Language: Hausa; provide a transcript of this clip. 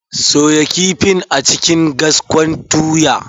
Soya kifin a cikin gwaskon tuya.